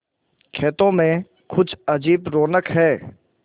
खेतों में कुछ अजीब रौनक है